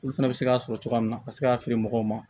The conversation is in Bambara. Olu fɛnɛ bɛ se k'a sɔrɔ cogoya min na ka se k'a feere mɔgɔw ma